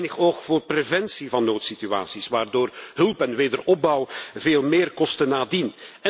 Er is te weinig oog voor preventie van noodsituaties, waardoor hulp en wederopbouw veel meer kosten nadien.